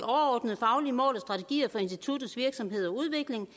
overordnede faglige mål og strategier for instituttets virksomhed og udvikling